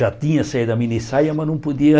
Já tinha saído a minissaia, mas não podia.